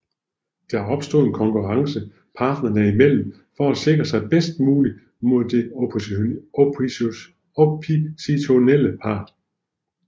Der opstår en konkurrence parterne i mellem for at sikre sig bedst muligt mod den oppositionelle part